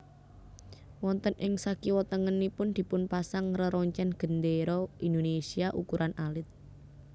Wonten ing sakiwa tengenipun dipun pasang reroncen gendera Indonesia ukuran alit